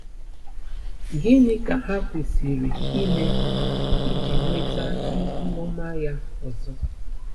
Gịnị ka ha kwesịrị ime iji nweta ihu ọma ya ọzọ?